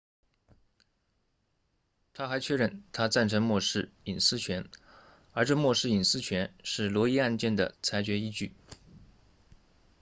他还确认他赞成默示隐私权而这默示隐私权是罗伊 roe 案件的裁决依据